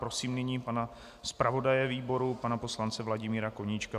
Prosím nyní pana zpravodaje výboru, pana poslance Vladimíra Koníčka.